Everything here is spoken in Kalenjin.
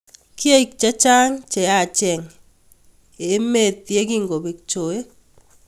Kiek che chang cheyaacheng emee ye kongobek choe.